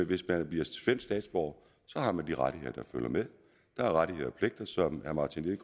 hvis man bliver svensk statsborger har man de rettigheder der følger med der er rettigheder